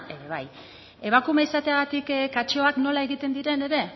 ere bai emakume izateagatik katxeoak nola egiten diren ere